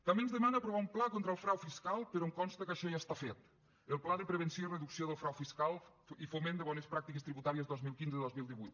també ens demana aprovar un pla contra el frau fiscal però em consta que això ja està fet el pla de prevenció i reducció del frau fiscal i foment de bones pràctiques tributàries dos mil quinze dos mil divuit